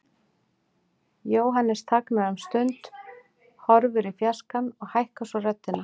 Jóhannes þagnar um stund, horfir í fjarskann og hækkar svo röddina.